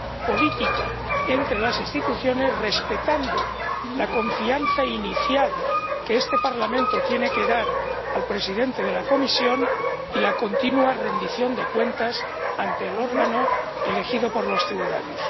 política entre las instituciones, respetando la confianza inicial que este Parlamento tiene que dar al presidente de la Comisión y la continua rendición de cuentas ante el órgano elegido por los ciudadanos.